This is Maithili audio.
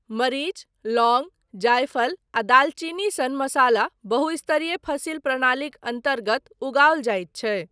मरीच, लौङ्ग, जायफल आ दालचीनी सन मसाला बहुस्तरीय फसिल प्रणालीक अन्तर्गत उगाओल जाइत छै।